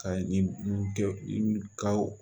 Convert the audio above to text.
Ka ni kɛ o